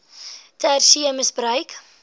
ter see misbruik